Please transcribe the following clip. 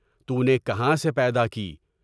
تونے کہاں سے پیدا کی؟